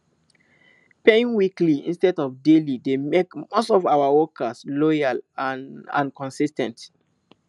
paying weekly instead of daily dey make most of our workers loyal and and consis ten t